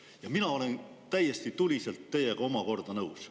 " Mina omakorda olen täiesti tuliselt teiega nõus.